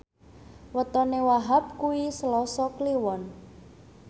wetone Wahhab kuwi Selasa Kliwon